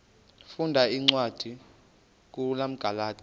funda cwadi kumagalati